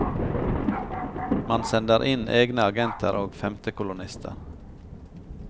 Man sender inn egne agenter og femtekolonnister.